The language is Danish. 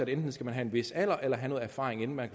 enten skal have en vis alder eller have noget erfaring inden man